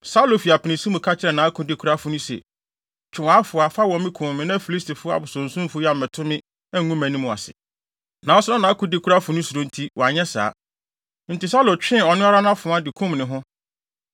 Saulo fi apinisi mu ka kyerɛɛ nʼakodekurafo no se, “Twe wʼafoa, fa wɔ me kum me na Filistifo abosonsomfo yi ammɛto me, angu mʼanim ase.” Nanso na nʼakodekurafo no suro nti, wanyɛ saa. Enti Saulo twee ɔno ara nʼafoa, de kum ne ho.